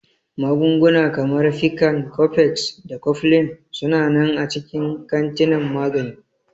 Magunguna kamar Piccan, Cofex, da Cofflin su na nan a cikin kantinan magani.